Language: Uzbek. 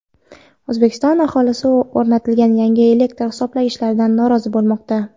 O‘zbekiston aholisi o‘rnatilgan yangi elektr hisoblagichlardan norozi bo‘lmoqda.